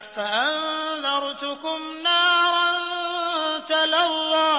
فَأَنذَرْتُكُمْ نَارًا تَلَظَّىٰ